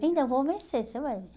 Ainda vou vencer, você vai ver.